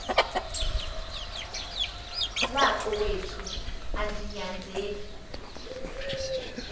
wakowethu andi nyanzeli